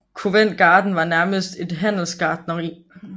Covent Garden var nærmest et handelsgartneri